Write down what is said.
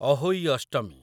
Ahoi Ashtami